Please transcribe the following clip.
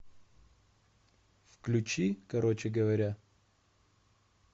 включи короче говоря